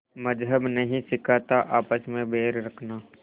मज़्हब नहीं सिखाता आपस में बैर रखना